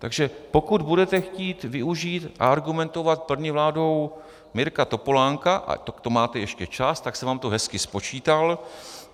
Takže pokud budete chtít využít a argumentovat první vládou Mirka Topolánka, tak to máte ještě čas, tak jsem vám to hezky spočítal.